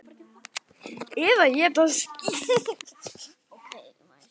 Eða éta skít!